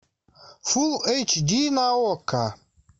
фулл эйч ди на окко